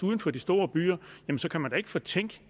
uden for de store byer så kan man da ikke fortænke